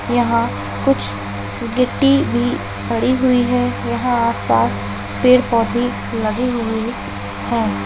यहां कुछ गिट्टी भी पड़ी हुई है यहां आसपास पेड़ भी लगे हुए हैं|